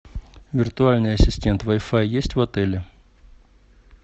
виртуальный ассистент вай фай есть в отеле